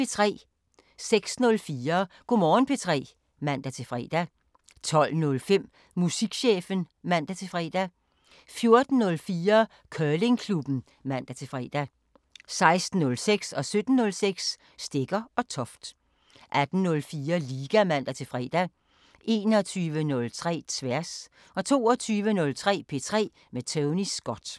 06:04: Go' Morgen P3 (man-fre) 12:05: Musikchefen (man-fre) 14:04: Curlingklubben (man-fre) 16:06: Stegger & Toft 17:06: Stegger & Toft 18:04: Liga (man-fre) 21:03: Tværs 22:03: P3 med Tony Scott